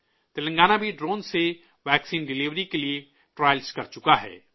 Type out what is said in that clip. تلنگانہ بھی ڈرون سے vaccine delivery کے لیے ٹرائل کر چکا ہے